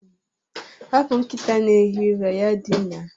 Hapụ nkịta na-ehi ụra ya dinaa